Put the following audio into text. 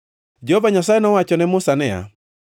Jehova Nyasaye nowacho ne Musa niya,